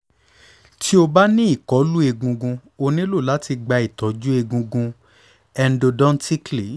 ti o ba ni ikolu egungun o nilo lati gba itọju egungun endodontically